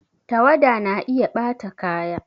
Tawada na iya ɓata kaya